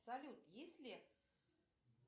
салют есть ли